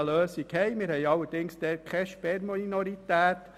Dort haben wir eine solche Lösung, allerdings ohne Sperrminorität.